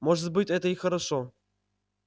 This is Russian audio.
может быть это и хорошо